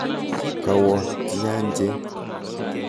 Kawo nyanjet.